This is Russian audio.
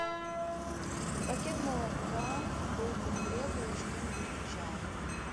пакет молока булку хлеба и что нибудь к чаю